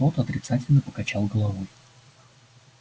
тот отрицательно покачал головой